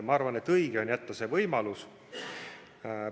Ma arvan, et õige on, kui see võimalus jäetakse.